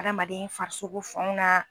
Adamaden farisokoso fanw na.